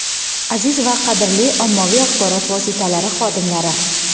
Aziz va qadrli ommaviy axborot vositalari xodimlari!.